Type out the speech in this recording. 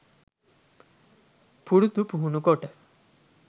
පුරුදු පුහුණු කොට